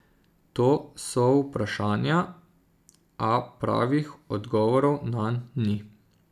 To so vprašanja, a pravih odgovorov nanj ni.